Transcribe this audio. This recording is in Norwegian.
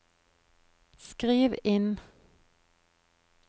skriv inn